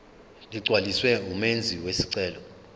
ligcwaliswe ngumenzi wesicelo